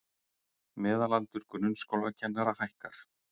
Meðalaldur grunnskólakennara hækkar